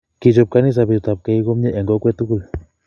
Kichop kanisa betut ab keik komnye eng kokwet tukul